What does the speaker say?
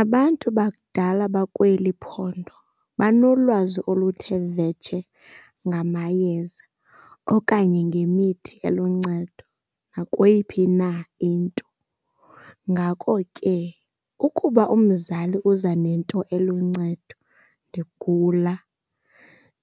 Abantu bakudala bakweli phondo banolwazi oluthe vetshe ngamayeza okanye ngemithi eluncedo nakweyiphi na into. Ngako ke ukuba umzali uza nento eluncedo ndigula,